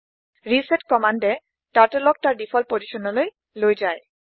reset কম্মান্দে turtle ক তাৰ ডিফল্ট অৱস্হান লৈ লৈ যায়